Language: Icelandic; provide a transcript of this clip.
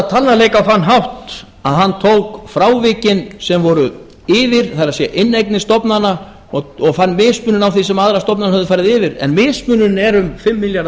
talnaleik á að hátt að hann tók frávikin sem voru yfir það er inneignir stofnana og fann mismun á því sem aðrar stofnanir höfðu farið yfir en mismunurinn er um fimm milljarðar